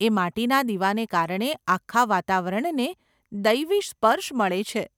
એ માટીના દીવાને કારણે આખા વાતાવરણને દૈવી સ્પર્શ મળે છે.